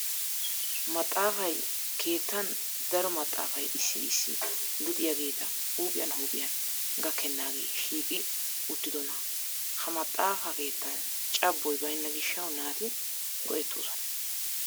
Maxxaafay keettan daro maxxaafay issi issi luxiyageeta huuphiyan huuphiyan gakkennaagee shiiqi uttidonaa. Ha maxxaafa keettan cabboy bayinna gishshawu naati go'ettees.